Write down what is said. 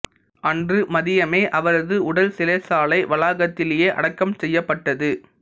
அன்று மதியமே அவரது உடல் சிறைச்சாலை வளாகத்திலேயே அடக்கம் செய்யப்பட்டது